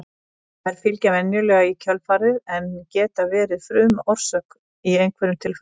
þær fylgja venjulega í kjölfarið en geta verið frumorsök í einhverjum tilfellum